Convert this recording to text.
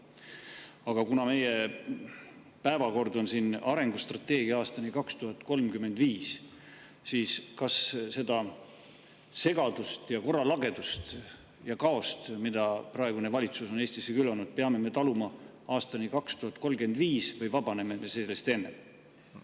Aga kuna meie tänases päevakorras on siin arengustrateegia aastani 2035, siis küsin: kas seda segadust ja korralagedust ja kaost, mida praegune valitsus on Eestis külvanud, peame me taluma aastani 2035 või vabaneme me sellest enne?